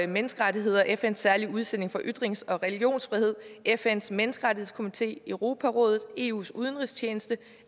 menneskerettigheder fns særlige udsending for ytrings og religionsfrihed fns menneskerettighedskomité europarådet eus udenrigstjeneste